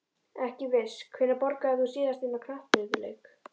Ekki viss Hvenær borgaðir þú þig síðast inn á knattspyrnuleik?